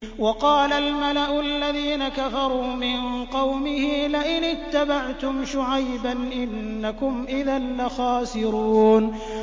وَقَالَ الْمَلَأُ الَّذِينَ كَفَرُوا مِن قَوْمِهِ لَئِنِ اتَّبَعْتُمْ شُعَيْبًا إِنَّكُمْ إِذًا لَّخَاسِرُونَ